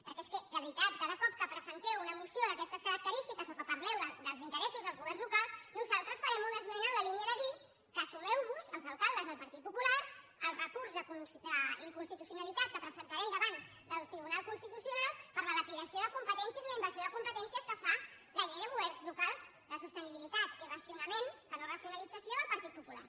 perquè és que de veritat cada cop que presenteu una moció d’aquestes característiques o que parleu dels interessos dels governs locals nosaltres farem una esmena en la línia de dir que sumeu vos els alcaldes del partit popular al recurs d’inconstitucionalitat que presentarem davant del tribunal constitucional per la dilapidació de competències i la invasió de competències que fa la llei de govern locals de sostenibilitat i racionament que no racionalització del partit popular